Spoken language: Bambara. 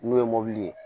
N'o ye mobili ye